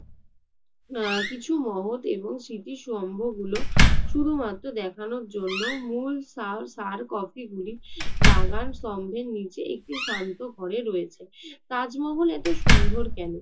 কিছু মহৎ এবং স্মৃতি স্তম্ভগুলো শুধুমাত্র দেখানোর জন্য মূল সার~ স্যার কপিগুলি বাগান স্তম্ভের নিচে একটি শান্ত ঘরে রয়েছে। তাজমহল এত সুন্দর কেন?